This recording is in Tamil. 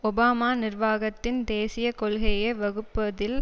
ஒபாமா நிர்வாகத்தின் தேசிய கொள்கையை வகுப்பதில்